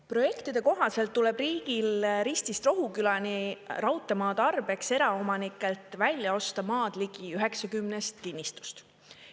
Projektide kohaselt tuleb riigil Ristist Rohukülani raudteemaa tarbeks eraomanikelt välja osta maadligi 90 kinnistust.